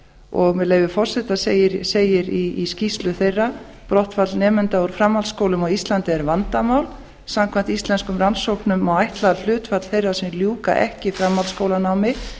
og með leyfi forseta segir í skýrslu þeirra brottfall nemenda úr framhaldsskólum á íslandi er vandamál samkvæmt íslenskum rannsóknum má ætla að hlutfall þeirra sem ljúka ekki framhaldsskólanámi